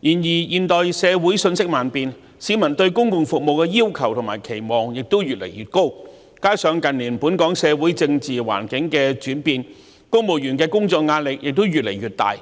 然而，現代社會瞬息萬變，市民對公共服務的要求和期望亦越來越高，加上近年本港社會政治環境轉變，公務員的工作壓力越來越大，